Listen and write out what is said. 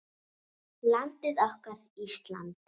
Landið okkar, Ísland.